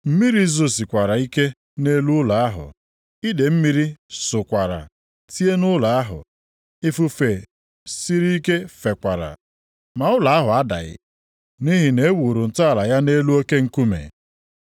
Mmiri zosikwara ike nʼelu ụlọ ahụ, idee mmiri sọkwara, tie nʼụlọ ahụ. Ifufe siri ike fekwara, ma ụlọ ahụ adaghị. Nʼihi na e wuru ntọala ya nʼelu oke nkume.